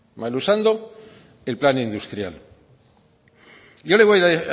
mal usando el plan industrial yo le voy a